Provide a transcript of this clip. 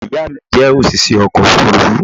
ìyá mi jẹ́ òṣìṣẹ́ ọkọ̀ òfurufú